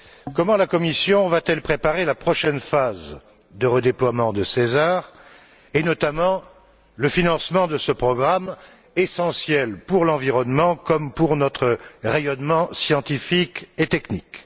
Comment la Commission va t elle préparer la prochaine phase de redéploiement de CESAR, et notamment le financement de ce programme essentiel pour l'environnement comme pour notre rayonnement scientifique et technique?